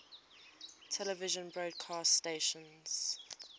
television broadcast stations